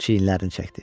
Çiyinlərini çəkdi.